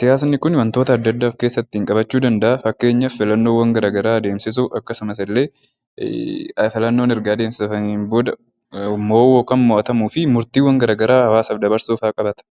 Siyaasni Kun waantota addaa addaa of keessatti qabachuu danda'a. Fakkeenyaaf filannoowwan garaagaraa adeemsisuu akkasumas immoo filannoon erga adeemsifamee booddee mo'uu fi mo'atamuu murtiiwwan garaagaraa hawaasaaf dabarsuu fa'aa qabata.